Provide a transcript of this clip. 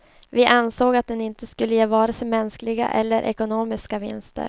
Vi ansåg att den inte skulle ge vare sin mänskliga eller ekonomiska vinster.